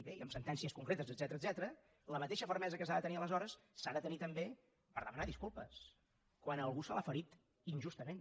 bé i amb sentències concretes etcètera la mateixa fermesa que s’ha de tenir aleshores s’ha de tenir també per demanar disculpes quan a algú se l’ha ferit injustament